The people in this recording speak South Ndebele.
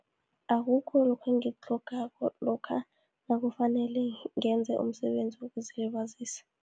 Akukho lokhu engikutlhokako, lokha nakufanele ngenze umsebenzi wokuzilibazisa.